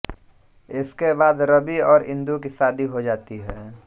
इसके बाद रवि और इन्दु की शादी हो जाती है